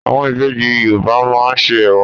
Àwọn ìbejì Yorùbá máa ń ṣe Ẹ̀wà.